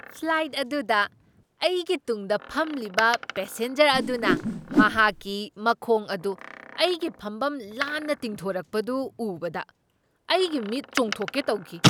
Flight ꯑꯗꯨꯗ ꯑꯩꯒꯤ ꯇꯨꯡꯗ ꯐꯝꯂꯤꯕ ꯄꯦꯁꯦꯟꯖꯔ ꯑꯗꯨꯅ ꯃꯍꯥꯛꯀꯤ ꯃꯈꯣꯡ ꯑꯗꯨ ꯑꯩꯒꯤ ꯐꯝꯐꯝ ꯂꯥꯟꯅ ꯇꯤꯡꯊꯣꯔꯛꯄꯗꯨ ꯎꯕꯗ ꯑꯩꯒꯤ ꯃꯤꯠ ꯆꯣꯡꯊꯣꯛꯀꯦ ꯇꯧꯈꯤ꯫